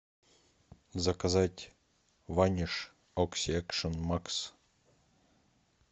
заказать ваниш окси экшн макс